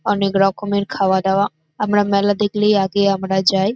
অনেক রকমের খাওয়া দাওয়া। আমরা মেলা দেখলেই আগে আমরা যাই।